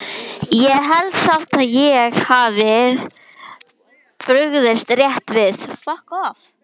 Ég held samt að ég hafi brugðist rétt við